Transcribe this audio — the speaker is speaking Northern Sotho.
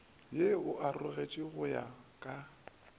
ye o aroletšwe go ya